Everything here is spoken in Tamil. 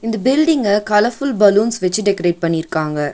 இந்த பில்டிங்க கலர் ஃபுல் பலூன்ஸ் வெச்சு டெக்கரேட் பண்ணிருக்காங்க.